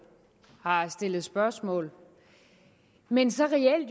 har stillet spørgsmål men som